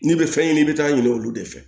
N'i bɛ fɛn ɲini i bɛ taa ɲiniŋ'olu de fɛ